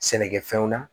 Sɛnɛkɛfɛnw na